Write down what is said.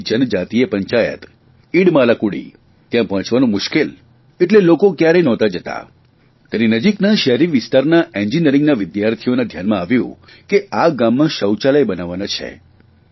ત્યાંની જનજાતિય પંચાયત ઇડમાલાકુડી ત્યાં પહોંચવાનું મુશ્કેલ એટલે લોકો કયારેય નહોતા જતા તેની નજીકના શહેરી વિસ્તારમાં એન્જીનિયરીંગના વિદ્યાર્થીઓના ધ્યાનમાં આવ્યું કે આ ગામમાં શૌચાલય બનાવવાનાં છે